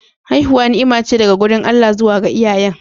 Haihuwa ni'ima ce daga wurin Allah zuwa ga iyayen.